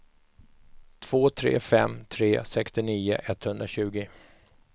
två tre fem tre sextionio etthundratjugo